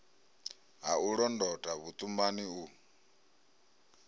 ha u londota vhuṱumani u